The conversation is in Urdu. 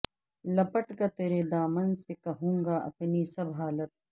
لپٹ کر تیرے دامن سے کہوں گا اپنی سب حالت